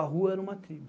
A rua era uma tribo.